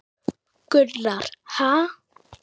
Gunnar: Ha!